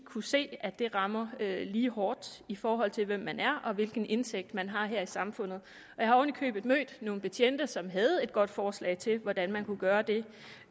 kunne se at det rammer lige hårdt i forhold til hvem man er og hvilken indtægt man har her i samfundet jeg har oven i købet mødt nogle betjente som havde et godt forslag til hvordan man kunne gøre det